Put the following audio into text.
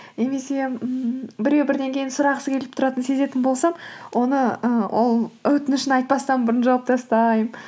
немесе ммм біреу бірдеңені сұрағысы келіп тұратынын сезетін болсам оны ы ол өтінішін айтпастан бұрын жауап тастаймын